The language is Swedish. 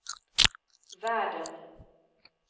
världen